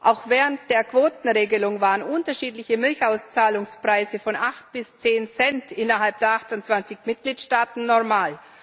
Auch während der Quotenregelung waren unterschiedliche Milchauszahlungspreise von acht bis zehn Cent innerhalb der 28 Mitgliedstaaten normal.